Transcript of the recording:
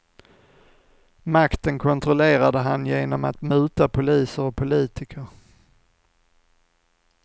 Makten kontrollerade han genom att muta poliser och politiker.